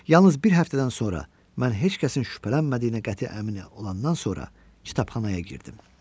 Yalnız bir həftədən sonra mən heç kəsin şübhələnmədiyinə qəti əmin olandan sonra kitabxanaya girdim.